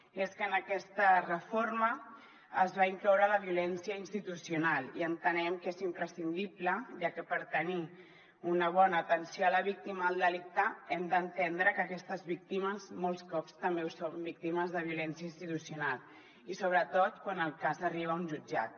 i és que en aquesta reforma es va incloure la violència institucional i entenem que és imprescindible ja que per tenir una bona atenció a la víctima del delicte hem d’entendre que aquestes víctimes molts cops també són víctimes de violència institucional i sobretot quan el cas arriba a un jutjat